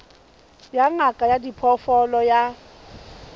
ya ngaka ya diphoofolo ya